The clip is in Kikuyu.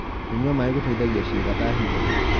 kũnyua maĩ gũteithagia ciiga ta higo